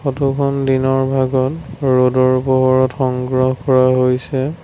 ফটোখন দিনৰ ভাগত ৰ'দৰ পোহৰত সংগ্ৰহ কৰা হৈছে।